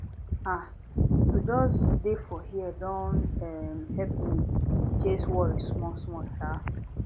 ah to just dey for here don um help me chase worry smallsmall um